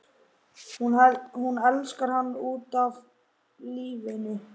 Hún elskar hann út af lífinu.